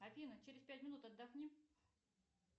афина через пять минут отдохни